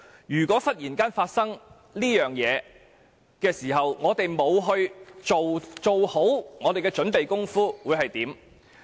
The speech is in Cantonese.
如果忽然發生這個情況，如果我們沒有做好準備，真的不知道將會怎樣呢？